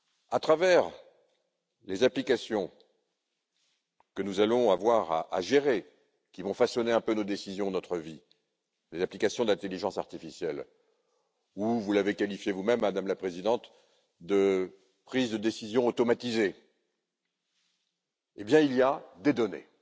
À travers les applications que nous allons avoir à gérer, qui vont façonner un peu nos décisions et notre vie, les applications d'intelligence artificielle, ou, comme vous l'avez qualifié vous même, Madame la Présidente, de prise de décisions automatisées, il y a des données.